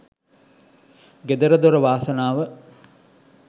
ගෙදර දොර වාසනාව